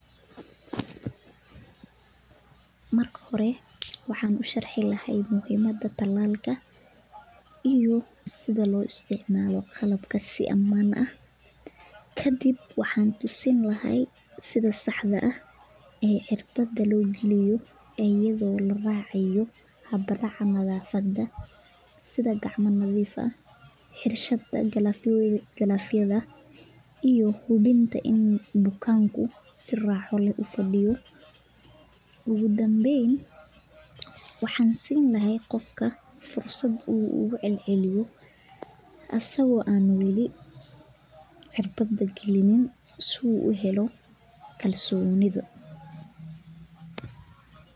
Marka hore waxaan usharxi lahaa muhimada talaalka iyo sida loo isticmaalo iyo sida saxda ah oo loo galiyo gacanta iyo hubinta in bukaanka si raaxa leh uu ufadiyo asaga oo weli cirbada galinin.